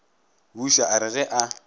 buša a re ge a